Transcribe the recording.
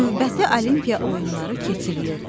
Növbəti olimpiya oyunları keçirilirdi.